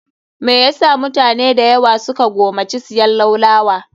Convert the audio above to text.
Me yasa mutane dayawa su ka gomaci siyan laulawa?